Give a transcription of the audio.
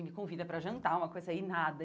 Ele me convida pra jantar, uma coisa aí, nada.